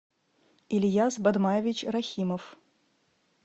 ильяс бадмаевич рахимов